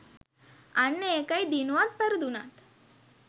අන්න ඒකයි දිනුවත් පැරදුනත්